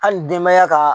Hali denbaya ka